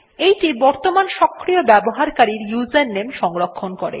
এইটি বর্তমানের সক্রিয় ব্যবহারকারীর ইউজারনেম সংরক্ষণ করে